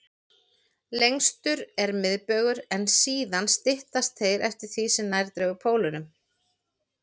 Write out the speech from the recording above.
Lengstur er miðbaugur, en síðan styttast þeir eftir því sem nær dregur pólunum.